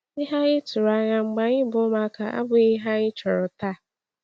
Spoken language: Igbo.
Ihe anyị tụrụ anya mgbe anyị bụ ụmụaka abụghị ihe anyị chọrọ taa.